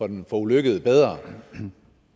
den forulykkede bedre